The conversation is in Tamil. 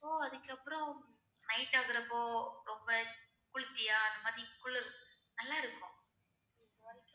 So அதுக்கு அப்புறம் night ஆகுற அப்போ ரொம்ப குளிர்ச்சியா அந்த மாதிரி குளிர் நல்லா இருக்கும்